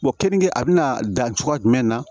keninge a bɛna dan cogoya jumɛn na